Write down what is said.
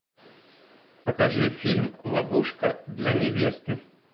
покажи фильм ловушка для невесты